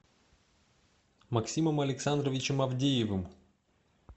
максимом александровичем авдеевым